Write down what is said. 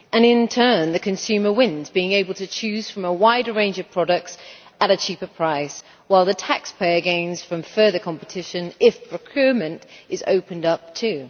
In turn, the consumer wins, being able to choose from a wide range of products at a cheaper price, while the taxpayer gains from further competition if procurement is opened up too.